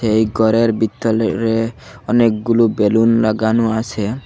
এই গরের বিতলে অনেকগুলো বেলুন লাগানো আছে।